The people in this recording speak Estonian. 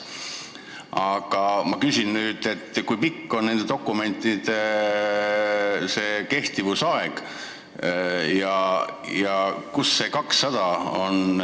Aga ma küsin, kui pikk on nende dokumentide kehtivusaeg ja kust tuleb see 200.